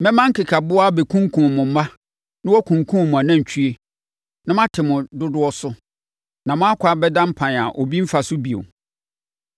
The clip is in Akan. Mɛma nkekaboa abɛkunkum mo mma na wɔakunkum mo anantwie, na mate mo dodoɔ so, na mo akwan bɛda mpan a obi mfa so bio.